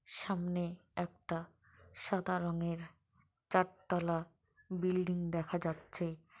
সামনে একটা সাদা রঙের চার তলা বিল্ডিং দেখা যাচ্ছে।